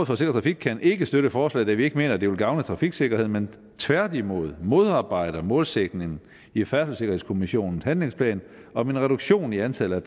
for sikker trafik kan ikke støtte forslaget da vi ikke mener at det vil gavne trafiksikkerheden men tværtimod modarbejde målsætningen i færdselssikkerhedskommissionens handlingsplan om en reduktion i antallet